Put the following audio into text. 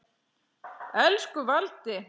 Elsku Valdi.